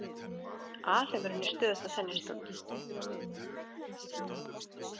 Alheimurinn er stöðugt að þenjast út.